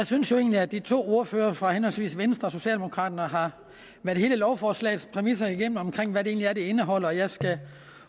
synes jo egentlig at de to ordførere fra henholdsvis venstre og socialdemokraterne har været hele lovforslagets præmisser igennem omkring hvad det egentlig er det indeholder og jeg skal